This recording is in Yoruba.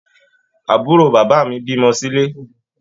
Àbúrò bàbá mí bímọ silé.